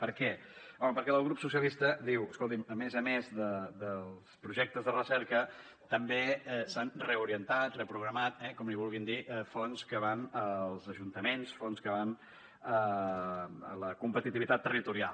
per què home perquè la del grup socialistes diu escolti’m a més a més dels projectes de recerca també s’han reorientat reprogramat eh com n’hi vulguin dir fons que van als ajuntaments fons que van a la competitivitat territorial